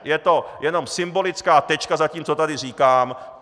Je to jenom symbolická tečka za tím, co tady říkám.